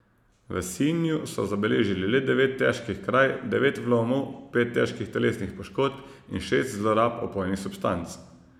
V Sinju so zabeležili le devet težkih kraj, devet vlomov, pet težkih telesnih poškodb in šest zlorab opojnih substanc.